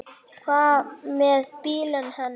Hvað með bílinn hennar?